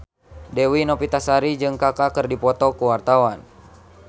Dewi Novitasari jeung Kaka keur dipoto ku wartawan